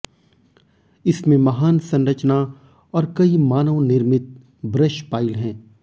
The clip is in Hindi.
इसमें महान संरचना और कई मानव निर्मित ब्रशपाइल हैं